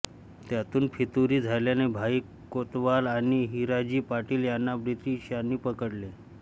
त्यातून फितुरी झाल्याने भाई कोतवाल आणि हिराजी पाटील यांना ब्रिटिशांनी पकडले